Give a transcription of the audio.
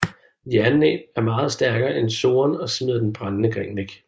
Jernnæb er meget stærkere end Soren og smider den brændende gren væk